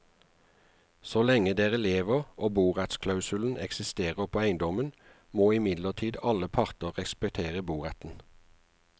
Så lenge dere lever og borettsklausulen eksisterer på eiendommen, må imidlertid alle parter respektere boretten.